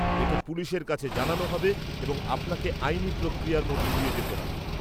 -এটা পুলিশের কাছে জানানো হবে এবং আপনাকে আইনি প্রক্রিয়ার মধ্য দিয়ে যেতে হবে।